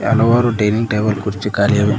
ಹಲವಾರು dining table ಕುರ್ಚಿ ಕಾಲಿ ಇವೆ.